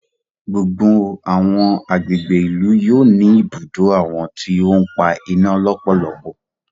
Gbogbo àwọn àgbègbè ìlú yóò ní ibùdó àwọn tí o n pa iná lọpọlọpọ.